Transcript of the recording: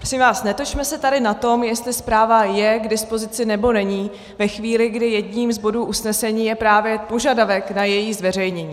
Prosím vás, netočme se tady na tom, jestli zpráva je k dispozici, nebo není ve chvíli, kdy jedním z bodů usnesení je právě požadavek na její zveřejnění.